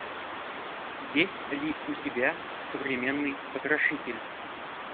есть ли у тебя современный потрошитель